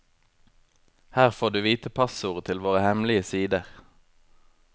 Her får du vite passordet til våre hemmelige sider.